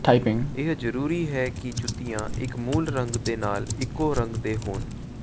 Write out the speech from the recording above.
ਇਹ ਜਰੂਰੀ ਹੈ ਕਿ ਜੁੱਤੀਆਂ ਇਕ ਮੂਲ ਰੰਗ ਦੇ ਨਾਲ ਇਕੋ ਰੰਗ ਦੇ ਹੋਣ